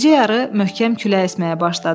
Gecə yarı möhkəm külək əsməyə başladı.